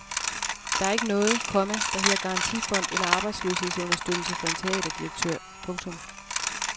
Der er ikke noget, komma der hedder garantifond eller arbejdsløshedsunderstøttelse for en teaterdirektør. punktum